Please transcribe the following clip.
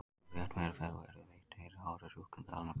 Ef rétt meðferð er veitt eru horfur sjúklinga almennt góðar.